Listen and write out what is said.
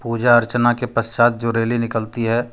पूजा अर्चना के पश्चात जो रैली निकलती है।